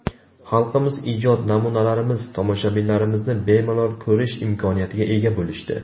Xalqimiz ijod namunalarimiz, tomoshalarimizni bemalol ko‘rish imkoniyatiga ega bo‘lishdi.